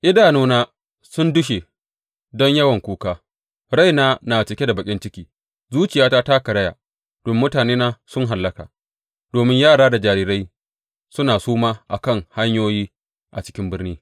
Idanuna sun dushe don yawan kuka, raina na cike da baƙin ciki; zuciyata ta karaya domin mutanena sun hallaka, domin yara da jarirai suna suma a kan hanyoyi a cikin birni.